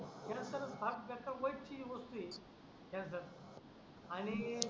त्या नंतर वय ठीक त्याचात आणि